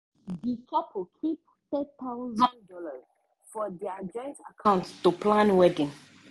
the couple keep one thousand dollars0 for their joint account to plan wedding.